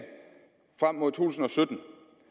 frem mod to tusind og sytten